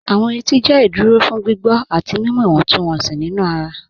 Awọn ètì jẹ́ ìdúró fún gbígbọ̀ àti mímú ìwọ̀ntúnwọ̀nsí nínu ara.